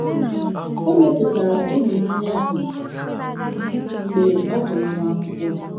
O mepụtara ịhụnanya ahụ mgbe ọ bụ nwa akwụkwọ.